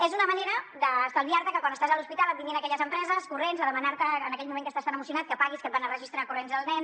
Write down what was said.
és una manera d’estalviar te que quan estàs a l’hospital et vinguin aquelles empreses corrents a demanar te en aquell moment que estàs tan emocionat que paguis que et van a registrar corrents el nen